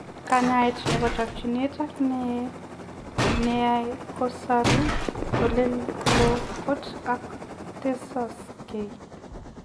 Kanyaet nepoo chokchinet ak nae kosaruu oleo koot ako tesoksei